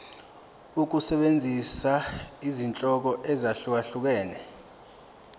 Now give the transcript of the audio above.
ukusebenzisa izinhlobo ezahlukehlukene